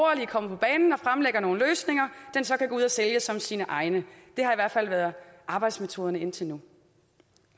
fremlægger nogle løsninger den så kan gå ud og sælge som sine egne det har i hvert fald være arbejdsmetoden indtil nu